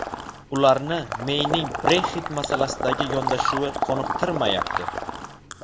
Ularni Meyning Brexit masalasidagi yondashuvi qoniqtirmayapti.